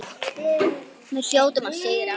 Við hljótum að sigra